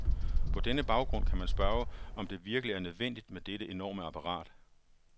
På denne baggrund kan man spørge, om det virkelig er nødvendigt med dette enorme apparat.